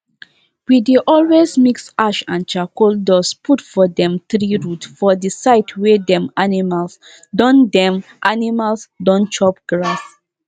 i learn say if you rough cow when you dey milk the milk wey you dey get go dey reduce small small everyday.